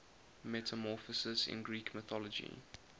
metamorphoses in greek mythology